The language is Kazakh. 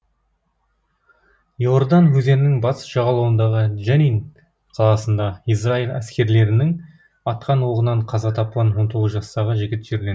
и ордан өзенінің батыс жағалауындағы дженин қаласында израиль әскерилерінің атқан оғынан қаза тапқан он тоғыз жастағы жігіт жерленді